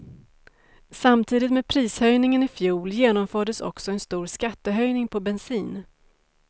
Samtidigt med prishöjningen ifjol genomfördes också en stor skattehöjning på bensin.